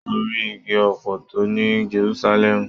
Mo ri igi ọpọtọ ní Jerúsálẹ́mù.